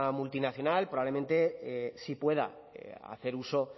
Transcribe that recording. multinacional probablemente sí puedan hacer uso